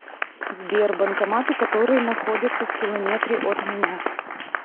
сбер банкоматы которые находятся в километре от меня